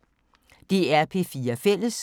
DR P4 Fælles